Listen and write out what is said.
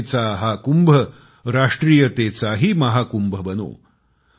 आस्थेचा हा कुंभ राष्ट्रीयतेचाही महाकुंभ बनो